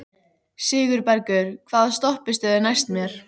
Sigurbergur, hvaða stoppistöð er næst mér?